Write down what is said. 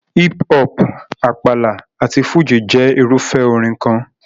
Hip hop, Àpàlà àti Fújì jẹ́ irúfẹ́ orin kan.